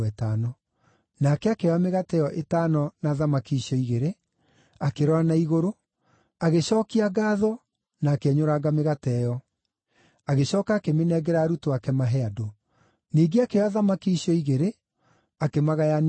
Nake akĩoya mĩgate ĩyo ĩtano na thamaki icio igĩrĩ, akĩrora na igũrũ, agĩcookia ngaatho na akĩenyũranga mĩgate ĩyo. Agĩcooka akĩmĩnengera arutwo ake mahe andũ. Ningĩ akĩoya thamaki icio igĩrĩ akĩmagayania othe.